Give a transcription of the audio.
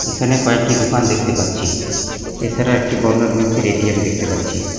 এখানে কয়েকটি দোকান দেখতে পাচ্ছি এছাড়া একটি বন্ধন ব্যাংকের এ_টি_এম দেখতে পাচ্ছি।